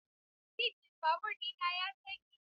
Siddin babur ɗin ya tsage.